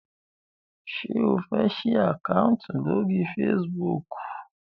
ṣe o fè sí Àkáùntì lórí Facebook?